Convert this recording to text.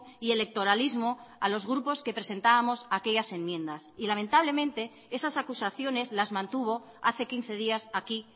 y electoralismo a los grupos que presentábamos aquellas enmiendas y lamentablemente esas acusaciones las mantuvo hace quince días aquí